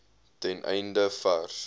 ten einde vars